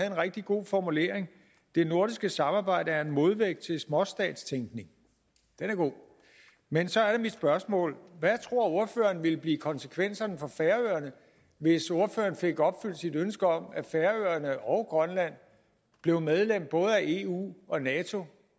en rigtig god formulering det nordiske samarbejde er en modvægt til småstatstænkning den er god men så er mit spørgsmål hvad tror ordføreren ville blive konsekvenserne for færøerne hvis ordføreren fik opfyldt sit ønske om at færøerne og grønland blev medlem både af eu og nato